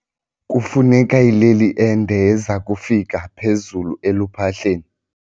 Kufuneka ileli ende eza kufika phezulu eluphahleni.